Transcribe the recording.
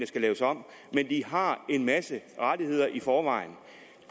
skal laves om men de har en masse rettigheder i forvejen